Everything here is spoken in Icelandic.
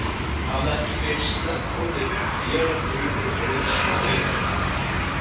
Hún hafði ekki fyrr sleppt orðinu en vélardrunur heyrðust fyrir utan.